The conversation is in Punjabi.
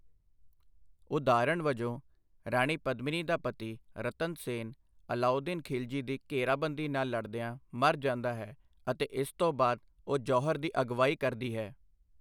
ਉਦਾਹਰਣ ਵਜੋਂ, ਰਾਣੀ ਪਦਮਿਨੀ ਦਾ ਪਤੀ ਰਤਨ ਸੇਨ ਅਲਾਉਦੀਨ ਖ਼ਿਲਜੀ ਦੀ ਘੇਰਾਬੰਦੀ ਨਾਲ ਲੜਦਿਆਂ ਮਰ ਜਾਂਦਾ ਹੈ, ਅਤੇ ਇਸ ਤੋਂ ਬਾਅਦ ਉਹ ਜੌਹਰ ਦੀ ਅਗਵਾਈ ਕਰਦੀ ਹੈ।